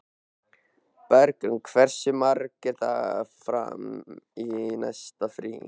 Bergrún, hversu margir dagar fram að næsta fríi?